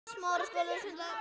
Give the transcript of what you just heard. Hvernig maður var pabbi?